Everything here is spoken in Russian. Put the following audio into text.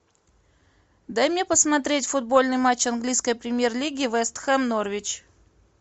дай мне посмотреть футбольный матч английской премьер лиги вест хэм норвич